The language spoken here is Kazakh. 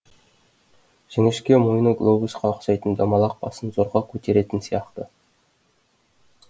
жіңішке мойны глобусқа ұқсайтын домалақ басын зорға көтеретін сияқты